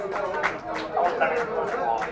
ಅವ್ರ್ ಕಡೆ ಇಂದ್ಲು ನೀವು